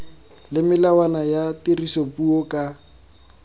le melawana ya tirisopuo ka